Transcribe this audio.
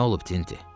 Nə olub Tinti?